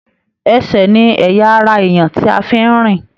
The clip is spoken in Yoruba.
Ẹsẹ ní ẹyà ará èèyàn tí a fí n rìn.